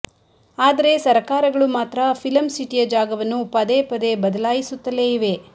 ಆದರೆ ಸರಕಾರಗಳು ಮಾತ್ರ ಫಿಲಂ ಸಿಟಿಯ ಜಾಗವನ್ನು ಪದೇ ಪದೇ ಬದಲಾಯಿಸುತ್ತಲೇ ಇವೆ